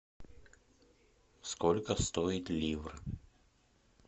сколько стоит ливр